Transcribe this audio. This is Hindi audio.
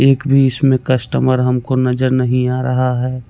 एक भी इसमें कस्टमर हम को नजर नहीं आ रहा है।